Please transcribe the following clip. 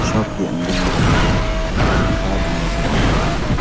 Shop के अंदर में मुझे पंखा भी नजर आ रहा है।